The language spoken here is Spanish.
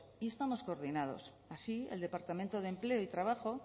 y estamos coordinados así el departamento de empleo y trabajo